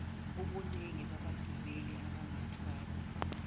ubuningi babagibeli abangathwalwa